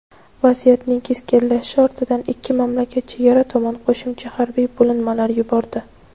Vaziyatning keskinlashishi ortidan ikki mamlakat chegara tomon qo‘shimcha harbiy bo‘linmalar yubordi.